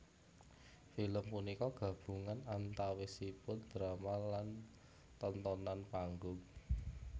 Film punika gabungan antawisipun drama lan tontonan panggung